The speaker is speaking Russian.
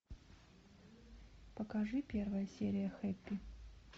покажи первая серия хэппи